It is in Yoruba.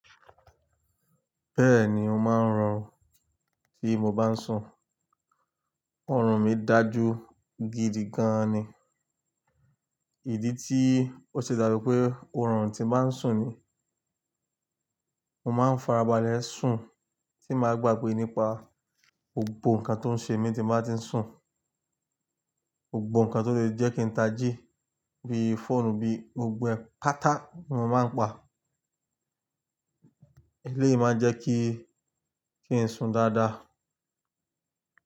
Bẹ́ẹ̀ni ó máa ń harun tí mo bá ń sùn. Òrùn mi dà jú gidi gan ni. Ìdí tí ó ṣe dá bi pé ó ń rùn tí máa ń sùn ni, mo máa ń farabalẹ̀ sùn tí màá gbàgbé nípa gbogbo nǹkan tó ń ṣe mí tí màá ti ń sùn. Gbogbo nǹkan tó lè jẹ́ kí ta jí bí i fóònù bí i gbogbo pátá mo máa ń pa. Eléyìí máa ń jẹ́ kí, kí n sùn dáadáa.